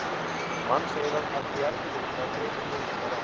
Mannseyrað ætti í erfiðleikum með að greina muninn þar á.